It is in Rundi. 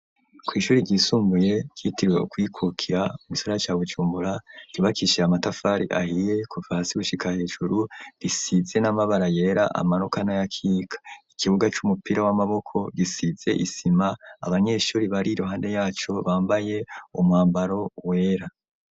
Kw'ishure ryisumbuye, ryitiriwe Ukwikukira mu gisagara ca Bujumbura, ryubakishijwe amatafari ahiye kuva hasi gushika hejuru, risize n'amabara yeta amanuka n'ayakika, ikibuga c'umupira w'amaboko gisize isima, abanyeshure bari iruhande yaco, bambaye umwambaro wera.